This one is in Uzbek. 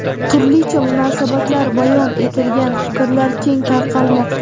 turlicha munosabatlar bayon etilgan fikrlar keng tarqalmoqda.